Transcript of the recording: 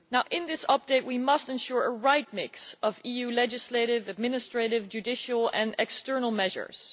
In this update we must ensure a correct mix of EU legislative, administrative, judicial and external measures.